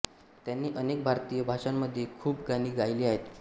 त्यांनी अनेक भारतीय भाषांमध्ये खूप गाणी गायली आहेत